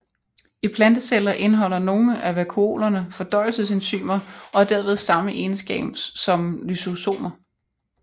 I planteceller indeholder nogle af vakuolerne fordøjelsesenzymer og har derved samme egenskab som lysosomer